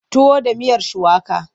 Tuwo da miyar shuwaka.